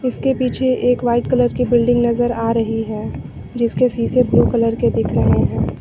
इसके पीछे एक वाइट कलर की बिल्डिंग नजर आ रही है जिसके सीसे ब्लू कलर के दिख रहे हैं।